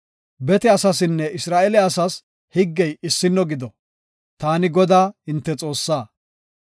Bete asaasinne Isra7eele asas higgey issino gido. Taani Godaa hinte Xoossaa.